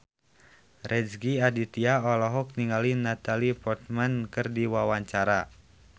Rezky Aditya olohok ningali Natalie Portman keur diwawancara